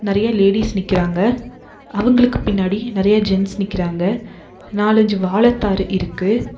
நறைய லேடிஸ் நிக்கிறாங்க அவங்களுக்கு பின்னாடி நறைய ஜென்ட்ஸ் நிக்கிறாங்க நாலஞ்சு வாழத்தாரு இருக்கு.